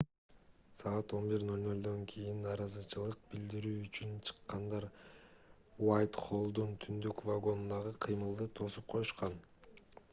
саат 11:00 кийин нааразычылык билдирүү үчүн чыккандар уайтхоллдун түндүк вагонундагы кыймылды тосуп коюшкан